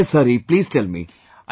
Yes Hari Please tell me